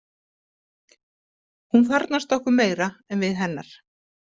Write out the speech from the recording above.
Hún þarfnast okkar meira en við hennar.